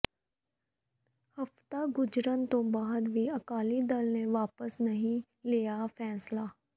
ਹਫ਼ਤਾ ਗੁਜ਼ਰਨ ਦੇ ਬਾਅਦ ਵੀ ਅਕਾਲੀ ਦਲ ਨੇ ਵਾਪਸ ਨਹੀਂ ਲਿਆ ਫ਼ੈਸਲਾ